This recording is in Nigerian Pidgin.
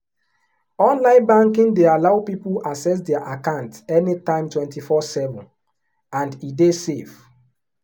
online banking dey allow people access their account anytime 247 and e dey safe.